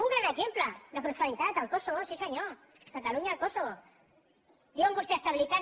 un gran exemple de prosperitat el kosovo sí senyor catalunya el kosovo diuen vostès estabilitat